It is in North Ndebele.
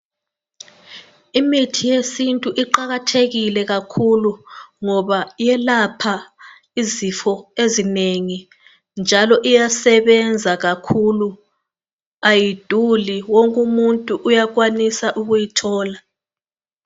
Imithi yesintu iqakathekile kakhulu, ngoba iyelapha izifo ezinengi, njalo iyasebenza kakhulu, ayiduli, wonke umuntu uyakwanisa ukuyithola.